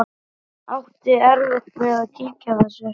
Átti erfitt með að kyngja þessu.